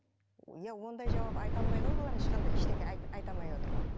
иә ондай жауап айта алмайды ғой бұлар ешқандай ештеңе айта алмай отыр ғой